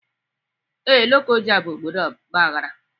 Ee, Lokoja bụ obodo ọgbaghara